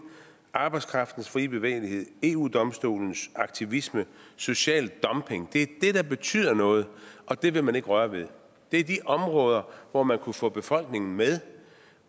arbejdskraftens frie bevægelighed eu domstolens aktivisme og social dumping der betyder noget og det vil man ikke røre ved det er de områder hvor man kunne få befolkningen med